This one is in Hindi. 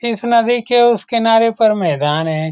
इस नदी के उस किनारे पर मैदान है।